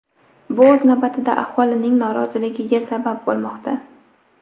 Bu o‘z navbatida aholining noroziligiga sabab bo‘lmoqda.